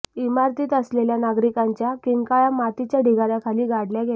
इमारतीत असलेल्या नागरिकांच्या किंकाळ्या मातीच्या ढिगाऱ्याखाली गाडल्या गेल्या